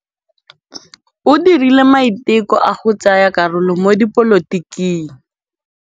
O dirile maitekô a go tsaya karolo mo dipolotiking.